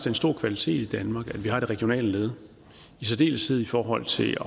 en stor kvalitet i danmark at vi har et regionalt led i særdeleshed i forhold til